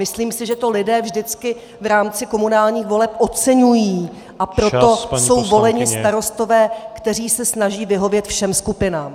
Myslím si, že to lidé vždycky v rámci komunálních voleb oceňují , a proto jsou voleni starostové, kteří se snaží vyhovět všem skupinám.